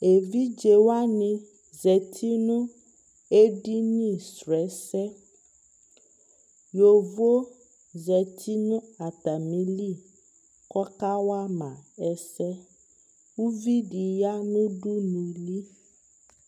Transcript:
ɛvidzɛ wani zati nʋ ɛdini srɔ ɛsɛ yɔvɔ zati nʋ atamili kʋ ɔka wama ɛsɛ, ʋvidi zati nʋ ʋdʋnʋli